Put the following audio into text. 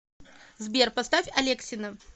сбер поставь алексина